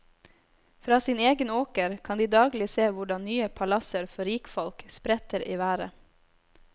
Fra sin egen åker kan de daglig se hvordan nye palasser for rikfolk spretter i været.